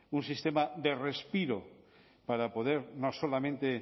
un sistema de respiro para poder no solamente